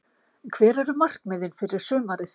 Hver eru markmiðin fyrir sumarið?